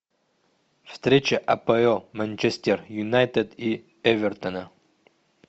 встреча апл манчестер юнайтед и эвертона